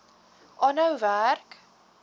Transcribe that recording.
aanhou werk